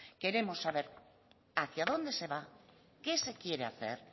queremos saber hacia dónde se va qué se quiere hacer